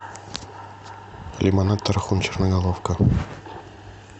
лимонад тархун черноголовка